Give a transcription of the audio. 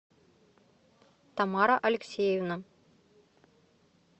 тамара алексеевна